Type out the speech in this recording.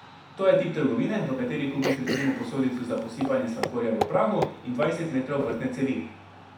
To je tip trgovine, v kateri kupiš recimo posodico za posipanje sladkorja v prahu in dvajset metrov vrtne cevi.